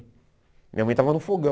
Minha mãe estava no fogão.